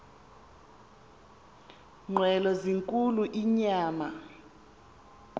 nqwelo zinkulu inyama